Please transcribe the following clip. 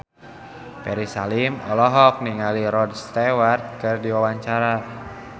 Ferry Salim olohok ningali Rod Stewart keur diwawancara